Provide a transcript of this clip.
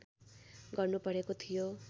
गर्नु परेको थियो